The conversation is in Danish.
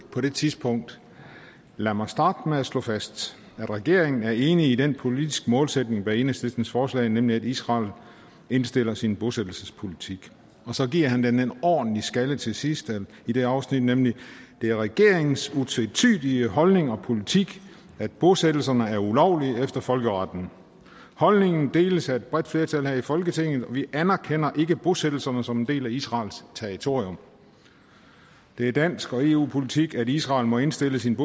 på det tidspunkt lad mig starte med at slå fast at regeringen er enig i den politiske målsætning bag enhedslistens forslag nemlig at israel indstiller sine bosættelsespolitik så giver han den en ordentlig skalle til sidst i det afsnit nemlig at det er regeringens utvetydige holdning og politik at bosættelserne er ulovlige efter folkeretten holdningen deles af et bredt flertal her i folketinget vi anerkender ikke bosættelserne som en del af israels territorium det er dansk og eu politik at israel må indstille sin